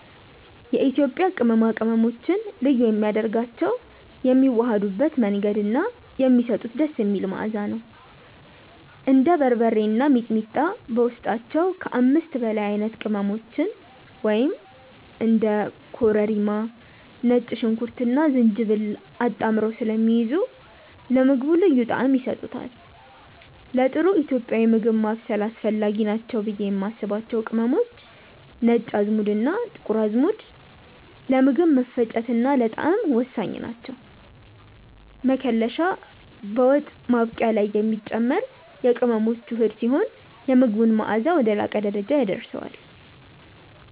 የኢትዮጵያ ቅመማ ቅመሞችን ልዩ የሚያደርጋቸው የሚዋሃዱበት መንገድ እና የሚሰጡት ደስ የሚል መዓዛ ነው። እንደ በርበሬ እና ሚጥሚጣ በውስጣቸው ከ5 በላይ አይነት ቅመሞችን (እንደ ኮረሪማ፣ ነጭ ሽንኩርትና ዝንጅብል) አጣምረው ስለሚይዙ ለምግቡ ልዩ ጣዕም ይሰጡታል። ለጥሩ ኢትዮጵያዊ ምግብ ማብሰል አስፈላጊ ናቸው ብዬ የማስባቸው ቅመሞች፦ ነጭ አዝሙድና ጥቁር አዝሙድ፦ ለምግብ መፈጨትና ለጣዕም ወሳኝ ናቸው። መከለሻ፦ በወጥ ማብቂያ ላይ የሚጨመር የቅመሞች ውህድ ሲሆን፣ የምግቡን መዓዛ ወደ ላቀ ደረጃ ያደርሰዋል።